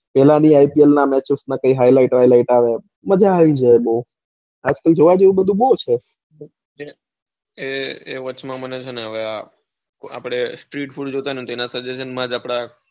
એમાં બી આઇપીએલ ના match ની highlight આવે મજા આવી જાય બૌ આજકાલ જોવા જેઉ બધું બૌ છે. કે વાચ માં મને છે ને street food જોતા ને એના suggestion માં જ આપણા.